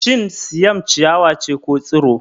Shin Siam ciyawa ce ko Tsiro?